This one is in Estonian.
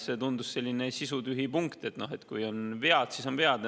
See tundus selline sisutühi punkt, et noh, kui on vead, siis on vead.